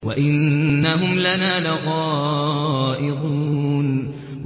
وَإِنَّهُمْ لَنَا لَغَائِظُونَ